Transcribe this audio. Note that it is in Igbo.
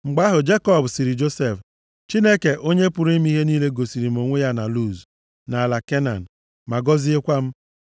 Mgbe ahụ, Jekọb sịrị Josef, “Chineke, Onye pụrụ ime ihe niile gosiri m onwe ya na Luz, nʼala Kenan, ma gọziekwa m.